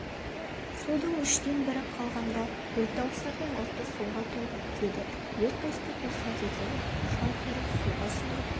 судың үштен бірі қалғанда көлтауысардың ұрты суға толып бітеді ер төстік рұқсат етеді шалқұйрық суға сүңгіп